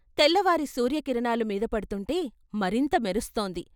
తెల్లవారి సూర్యకిరణాలు మీదపడ్తుంటే మరింత మెరుస్తోంది.